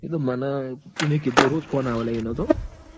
એતો મન એને કીધું રોઝ phone આવ લ્યા એનો તો.